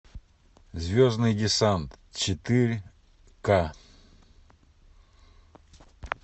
звездный десант четыре ка